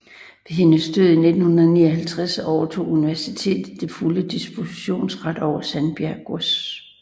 Ved hendes død i 1959 overtog universitetet den fulde dispositionsret over Sandbjerg Gods